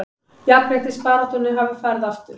Jafnréttisbaráttunni hafi farið aftur